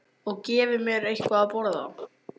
Og gefi mér eitthvað að borða.